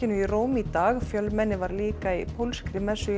í Róm í dag fjölmenni var líka í pólskri messu í